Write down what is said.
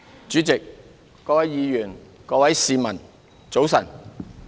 主席、各位議員、各位市民，早晨。